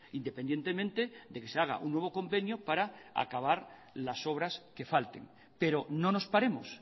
independientemente de que se haga un nuevo convenio para acabar las obras que falten pero no nos paremos